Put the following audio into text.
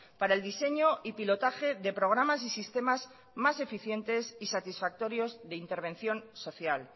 para el diseño y pilotaje de programas y sistemas más eficientes y satisfactorios de intervención social